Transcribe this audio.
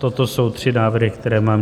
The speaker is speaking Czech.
Toto jsou tři návrhy, které mám.